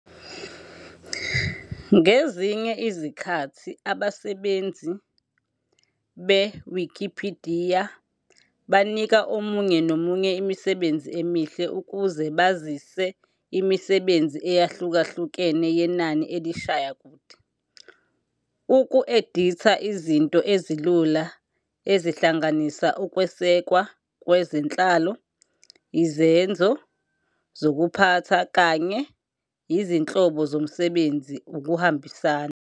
Ngezinye izikhathi abasebenzisi beWikipidiya banika omunye nomunye imisebenzi emihle ukuze bazise imisebenzi eyahlukahlukene yenani elishaya kude, uku-editha izinto ezilula ezihlanganisa ukwesekwa kwezenhlalo, izenzo zokuphatha, kanye izinhlobo zomsebenzi ukuhambisana.